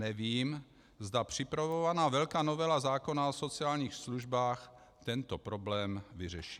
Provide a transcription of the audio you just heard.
Nevím, zda připravovaná velká novela zákona o sociálních službách tento problém vyřeší.